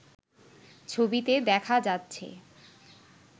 ছবিতে দেখা যাচ্ছে